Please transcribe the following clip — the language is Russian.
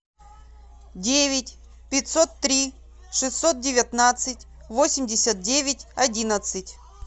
девять пятьсот три шестьсот девятнадцать восемьдесят девять одиннадцать